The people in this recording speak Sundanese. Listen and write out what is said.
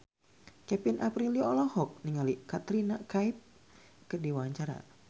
Kevin Aprilio olohok ningali Katrina Kaif keur diwawancara